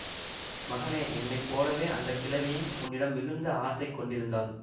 மகனே என்னை போலவே அந்த கிழவியும் உன்னிடம் மிகுந்த ஆசை கொண்டிருந்தாள்